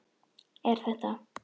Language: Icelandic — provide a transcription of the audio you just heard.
Er þetta.